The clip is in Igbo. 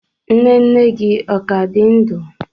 Nne nne gi o ka di ndu?